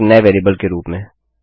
एक नए वेरिएबल के रूप में